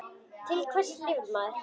Til hvers lifir maður?